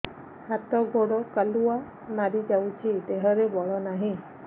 ହାତ ଗୋଡ଼ କାଲୁଆ ମାରି ଯାଉଛି ଦେହରେ ବଳ ନାହିଁ